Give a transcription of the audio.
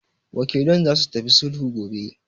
Wakilan zasu tafi sulhu gobe.